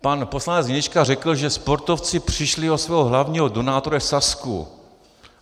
Pan poslanec Hnilička řekl, že sportovci přišli o svého hlavního donátora Sazku.